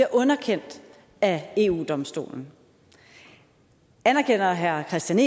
underkendt af eu domstolen anerkender herre kristian